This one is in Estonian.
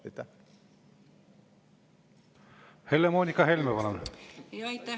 Helle-Moonika Helme, palun!